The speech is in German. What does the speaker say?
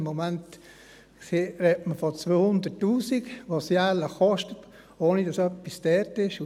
Im Moment spricht man von 200 000 Franken, die es jährlich kostet, ohne dass dort etwas untergebracht ist.